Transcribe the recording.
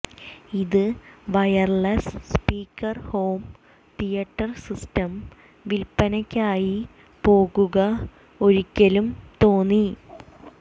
ഇത് wireless speaker home theatre system വിൽപ്പനയ്ക്കായി പോകുക ഒരിക്കലും തോന്നി